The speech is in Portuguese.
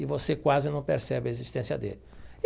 E você quase não percebe a existência dele.